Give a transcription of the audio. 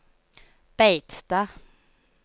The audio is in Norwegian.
Beitstad